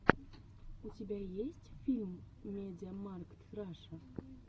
у тебя есть фильм мидиамаркт раша